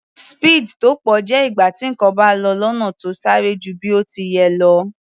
Speed tó pọ̀ jẹ́ ìgbà tí nǹkan bá lọ lọ́nà tó sáré ju bí ó ti yẹ lọ.